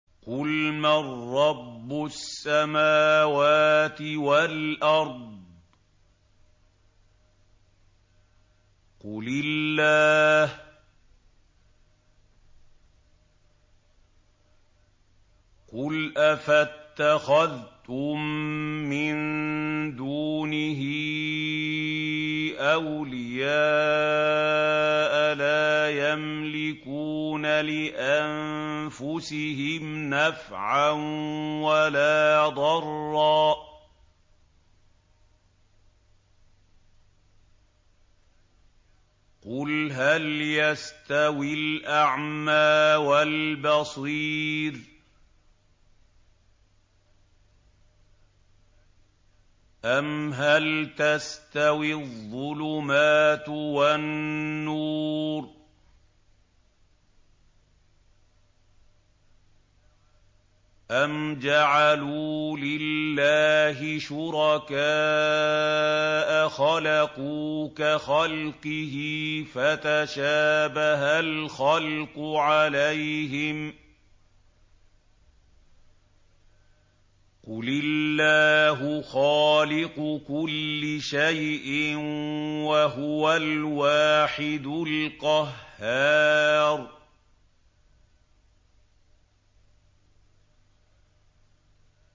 قُلْ مَن رَّبُّ السَّمَاوَاتِ وَالْأَرْضِ قُلِ اللَّهُ ۚ قُلْ أَفَاتَّخَذْتُم مِّن دُونِهِ أَوْلِيَاءَ لَا يَمْلِكُونَ لِأَنفُسِهِمْ نَفْعًا وَلَا ضَرًّا ۚ قُلْ هَلْ يَسْتَوِي الْأَعْمَىٰ وَالْبَصِيرُ أَمْ هَلْ تَسْتَوِي الظُّلُمَاتُ وَالنُّورُ ۗ أَمْ جَعَلُوا لِلَّهِ شُرَكَاءَ خَلَقُوا كَخَلْقِهِ فَتَشَابَهَ الْخَلْقُ عَلَيْهِمْ ۚ قُلِ اللَّهُ خَالِقُ كُلِّ شَيْءٍ وَهُوَ الْوَاحِدُ الْقَهَّارُ